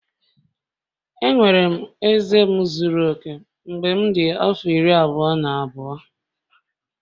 Enwere m eze m zuru oke mgbe m dị afọ iri abụọ na abụọ